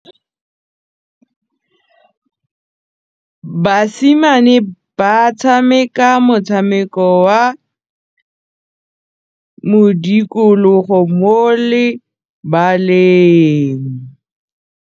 Basimane ba tshameka motshameko wa modikologô mo lebaleng.